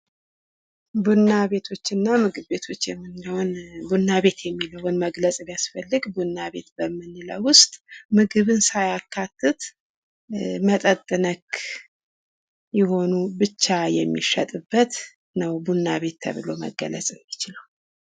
ቡና ቤቶችና ምግብ ቤቶች ቡና ቤት የሚለውን መግለጽ ቢያስፈልግ ምግብ ሳያካትት መጠጥ ነክ የሚሸጥበት ተብሎ መግለጽ ይቻላል።